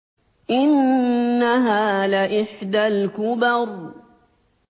إِنَّهَا لَإِحْدَى الْكُبَرِ